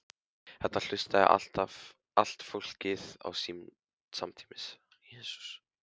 Þetta hlustaði allt fólkið á samtímis.